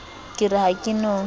ke re ha ke no